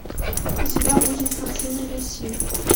у тебя будет картина люси